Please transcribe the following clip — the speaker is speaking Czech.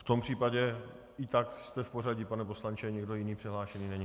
V tom případě i tak jste v pořadí, pane poslanče, nikdo jiný přihlášený není.